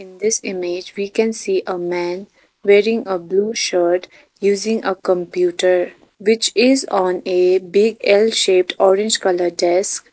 in this image we can see a man wearing a blue shirt using a computer which is on a big l shaped orange colour desk.